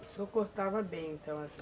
O senhor cortava bem, então?